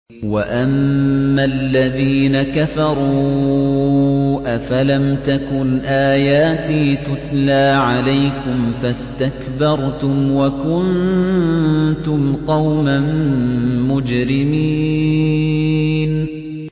وَأَمَّا الَّذِينَ كَفَرُوا أَفَلَمْ تَكُنْ آيَاتِي تُتْلَىٰ عَلَيْكُمْ فَاسْتَكْبَرْتُمْ وَكُنتُمْ قَوْمًا مُّجْرِمِينَ